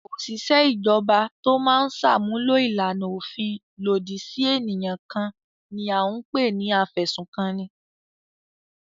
Òṣìṣẹ́ ìjọba tó máa ń ṣàmúlò ìlànà òfin lòdì sí ènìyàn kan ni à ń pè ní afẹ̀sùnkanni.